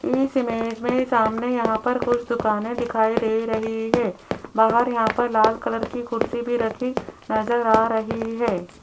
इस इमेज में सामने यहां पर कुछ दुकाने दिखाई दे रही है बाहर यहां पर लाल कलर की कुर्सी भी रखी नजर आ रही है।